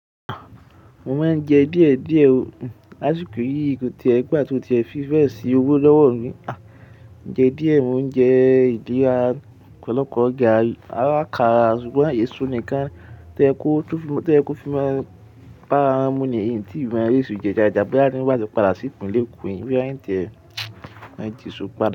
Mo máa ń jẹ díẹ̀ díẹ̀ o. Lásìkò yìí ko ti e gbà tí ó ti ẹ fi bẹ́ si owó lọ́wọ́ mi. Oúnjẹ díẹ̀ mo ń jẹ ìdí ra ọ́pọ̀lọpọ̀ garri arakàrà ṣùgbọ́n èso nìkan toyẹ kò ko lo to ye ko fi n máa bá rà wọn mú nìyi n tí mo rẹ́sọ́ jẹ dáadáa bóyá bó bá lè padà sipinlẹ ẹ̀kọ́ bíya n ti ẹ́ máa ti ṣú padà.